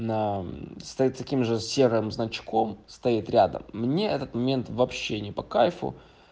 на стоит таким же серым значком стоит рядом мне этот момент вообще не по кайду